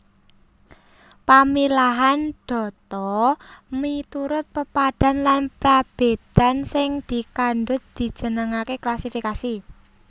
Pamilahan data miturut pepadhan lan prabédan sing dikandhut dijenengaké klasifikasi